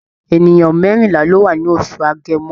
È̀nìyàn mẹ́rìnlá ló wá ní oṣù Agẹmọ.